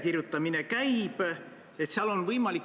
Nimelt, ma olen pikka aega olnud Riigikogu sotsiaalkomisjonis.